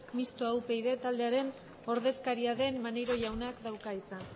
mistoa upyd taldearen ordezkaria den maneiro jaunak dauka hitza